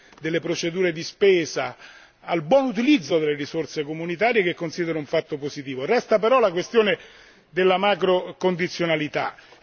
importanti dalla semplificazione, alla velocizzazione delle procedure di spesa, al buon utilizzo delle risorse comunitarie che considero un fatto positivo.